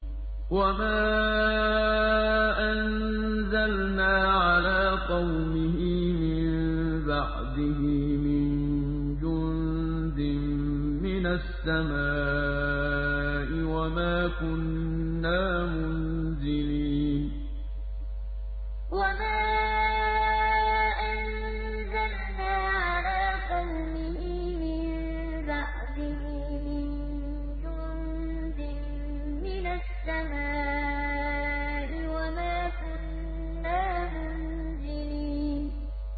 ۞ وَمَا أَنزَلْنَا عَلَىٰ قَوْمِهِ مِن بَعْدِهِ مِن جُندٍ مِّنَ السَّمَاءِ وَمَا كُنَّا مُنزِلِينَ ۞ وَمَا أَنزَلْنَا عَلَىٰ قَوْمِهِ مِن بَعْدِهِ مِن جُندٍ مِّنَ السَّمَاءِ وَمَا كُنَّا مُنزِلِينَ